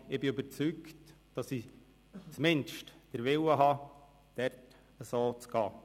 Aber ich bin überzeugt, dass ich zumindest den Willen habe, dies zu tun.